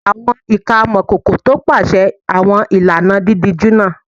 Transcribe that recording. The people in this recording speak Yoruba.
Àwọn ìka amọ̀kòkò tọpasẹ̀ àwọn ìlànà dídíjú náà